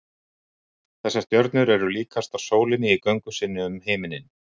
Þessar stjörnur eru líkastar sólinni í göngu sinni um himininn.